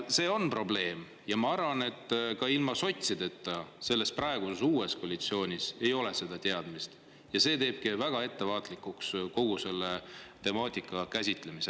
See on probleem ja ma arvan, et ka ilma sotsideta, selles praeguses uues koalitsioonis ei ole seda teadmist ja see teebki väga ettevaatlikuks kogu selle temaatika käsitlemisel.